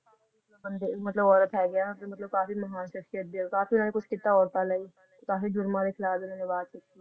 ਬੰਦੇ ਮਤਲਬ ਔਰਤ ਹੈਗੇ ਆ ਜੋ ਕਾਫੀ ਮਹਾਨ ਸਖਸ਼ੀਅਤ ਦੇ ਕਾਫੀ ਕੁਛ ਕੀਤਾ ਔਰਤਾਂ ਲਈ ਤਾਂਹੀ ਜੁਰਮਾਂ ਦੇ ਖਿਲਾਫ ਇਹਨਾਂ ਆਵਾਜ਼